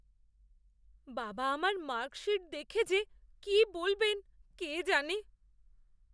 বাবা আমার মার্কশীট দেখে যে কি বলবেন কে জানে।